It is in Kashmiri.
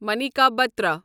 مانیکا بٹرا